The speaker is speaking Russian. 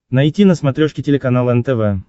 найти на смотрешке телеканал нтв